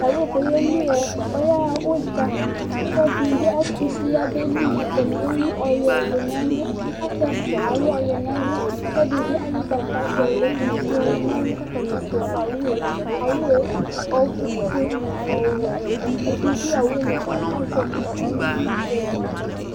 owu dɩ yeli yaɣa udza, ɔsi efua dɩnɩ bɩ atusi yeli, atani alʊ ɔyuɛ , kʊ ɛdɩta alʊ ugbata, kʊ atanɩ fua owu yɛ, owu ofue bʊ ɔwɛ la yɛ, aluɛdɩnɩ dʊ owu yɛ li kʊ azɛ kusi